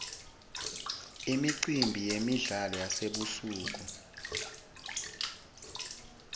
imicimbi yemidlalo yasebusuku